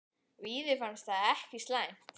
Víði fannst það ekkert slæmt.